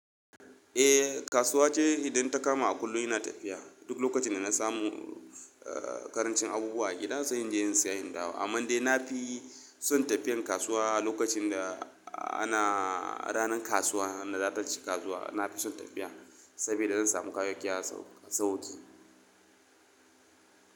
Eh kasuwa ce idan ta kama a kullum ina tafiya. Duk lokacin da na samu karancin abubuwa a gida se inje in saya in dawo. Amman dai nafi son tafiyan kasuwa lokacin da ana ranan kasuwa, wanda zakaci kasuwa nafi son tafiya sabida zan samu kayayyaki a sauki.